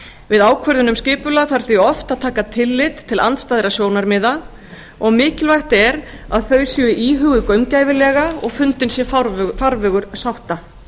við ákvörðun um skipulag þarf því oft að taka tillit til andstæðra sjónarmiða og mikilvægt er að þau séu íhuguð gaumgæfilega og fundinn sé farvegur sátta